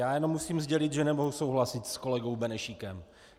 Já jenom musím sdělit, že nemohu souhlasit s kolegou Benešíkem.